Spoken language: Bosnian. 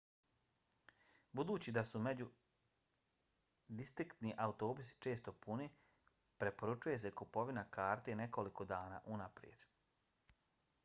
budući da su međudistriktni autobusi često puni preporučuje se kupovina karte nekoliko dana unaprijed